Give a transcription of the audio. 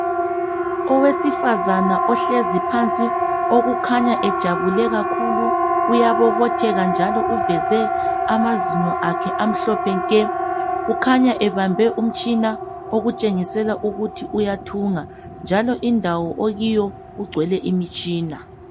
Owesifazana ohlezi phansi okhanya ejabule kakhulu uyabobotheka njalo uveze amazinyo akhe amhlophe nke. Ukhanya ebambe umtshina okutshengisela ukuthi uyathunga. Njalo indawo akuyo igcwele imitshina.